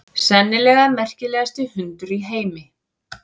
Sennilega merkilegasti hundur í heimi.